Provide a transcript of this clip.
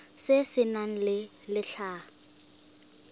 se se nang le letlha